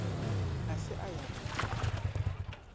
a se a ya go